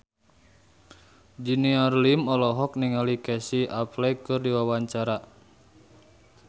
Junior Liem olohok ningali Casey Affleck keur diwawancara